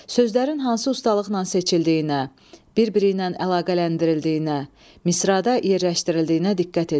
Sözlərin hansı ustalıqla seçildiyinə, bir-biri ilə əlaqələndirildiyinə, misrada yerləşdirildiyinə diqqət edin.